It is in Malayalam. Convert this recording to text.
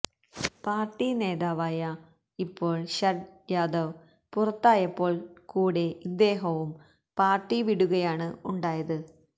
പാര്ട്ടി നേതാവായ ഇപ്പോള് ശരദ് യാദവ് പുറത്തായപ്പോള് കൂടെ ഇദ്ദേഹവും പാര്ട്ടി വിടുകയാണ് ഉണ്ടായത്